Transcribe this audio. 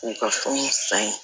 U ka fɛnw san